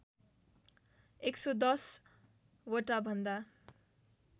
११० वटा भन्दा